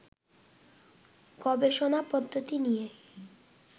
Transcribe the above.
গবেষণা পদ্ধতি নিয়ে